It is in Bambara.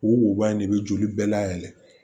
O wo in de bɛ joli bɛɛ layɛlɛn